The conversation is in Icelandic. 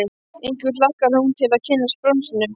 Einkum hlakkar hún til að kynnast bronsinu.